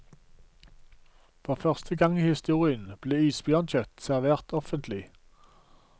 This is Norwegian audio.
For første gang i historien ble isbjørnkjøtt servert offentlig.